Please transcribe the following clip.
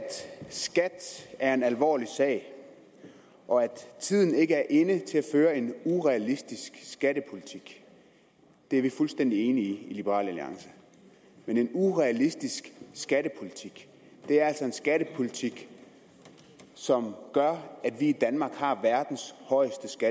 skat er en alvorlig sag og at tiden ikke er inde til at føre en urealistisk skattepolitik det er vi fuldstændig enige i i liberal alliance men en urealistisk skattepolitik er altså en skattepolitik som gør at vi i danmark har verdens højeste